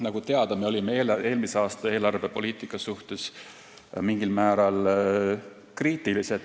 Nagu teada, olime eelmise aasta eelarvepoliitika suhtes mingil määral kriitilised.